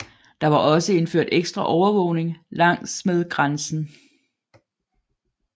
Der var også indført ekstra overvågning langsmed grænsen